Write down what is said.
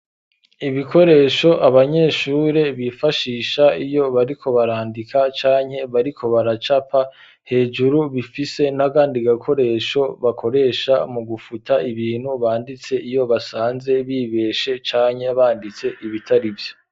Ibikoresho abanyeshure bifashisha iyo bariko barandika canke bariko baracapa hejuru bifise nagandi gakoresho bakoresha mu gufuta ibintu banditse iyo basanze bibeshe canye banditse ibitari vyo.